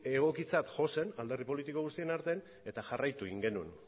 egokitzat jo zen alderdi politiko guztien artean eta jarraitu egin genuen